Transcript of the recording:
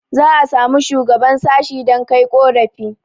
za a samu shuagaban sashi dan Kai ƙorafi